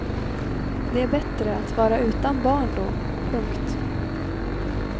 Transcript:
Det är bättre att vara utan barn då. punkt